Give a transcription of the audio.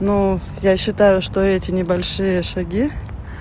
ну я считаю что эти небольшие шаги